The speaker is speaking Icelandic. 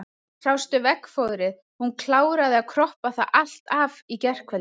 Sástu veggfóðrið, hún kláraði að kroppa það allt af í gærkvöld.